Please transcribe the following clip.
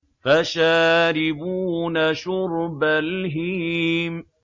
فَشَارِبُونَ شُرْبَ الْهِيمِ